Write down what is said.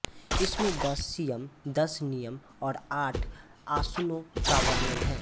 इसमें दस यम दस नियम और आठ आसनों का वर्णन है